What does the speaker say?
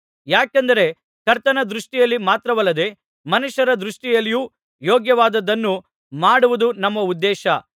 ಯಾಕೆಂದರೆ ಕರ್ತನ ದೃಷ್ಟಿಯಲ್ಲಿ ಮಾತ್ರವಲ್ಲದೆ ಮನುಷ್ಯರ ದೃಷ್ಟಿಯಲ್ಲಿಯೂ ಯೋಗ್ಯವಾದದ್ದನ್ನು ಮಾಡುವುದು ನಮ್ಮ ಉದ್ದೇಶ